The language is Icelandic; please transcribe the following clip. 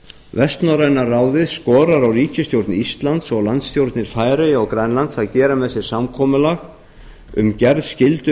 vestnorræna ráðið skorar á ríkisstjórn íslands og landsstjórnir færeyja og grænlands að gera með sér samkomulag um gerð